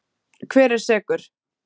Hver er sekur?